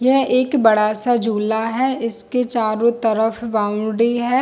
यह एक बड़ा सा झूला है इसके चारो तरड़ बॉउंड्री है।